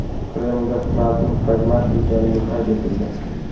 Kremlda Trampning pragmatik ekanligi qayd etildi.